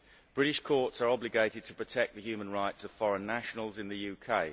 British courts are obligated to protect the human rights of foreign nationals in the UK.